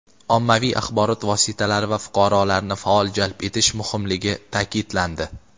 ommaviy axborot vositalari va fuqarolarni faol jalb etish muhimligi ta’kidlandi.